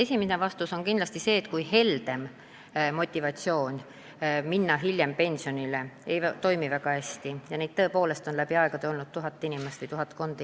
Esimene vastus on kindlasti see, et suurem pension hilisema pensionile jäämise korral ei toimi motivaatorina väga hästi – neid inimesi on tõesti olnud vaid tuhatkond.